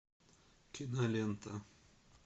кинолента